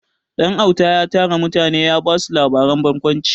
Ɗanauta ya tara mutane ya ba su labaren barkwanci.